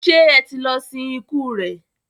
ṣe ẹ tí lọ sin ikú rẹ?